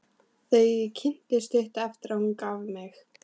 Þau kynntust stuttu eftir að hún gaf mig.